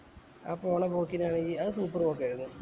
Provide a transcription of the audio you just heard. ആ പോണെ പോക്കിനാണെങ്കി അത് super പോക്കായിരുന്നു